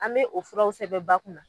An bɛ o furaw sɛbɛn ba kun na